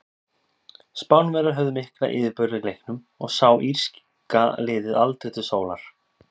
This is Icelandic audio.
Spánverjar höfðu mikla yfirburði í leiknum og sá írska liðið aldrei til sólar.